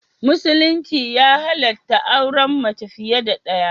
Musulunci ya halatta auren mace fiye da daya.